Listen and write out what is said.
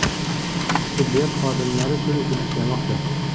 Tibbiyot xodimlari tunu kun ishlamoqda.